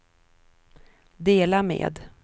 dela med